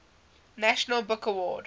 national book award